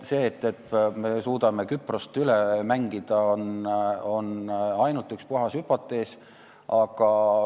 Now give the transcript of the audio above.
See, et me suudame Küprost üle mängida, on puhas hüpotees.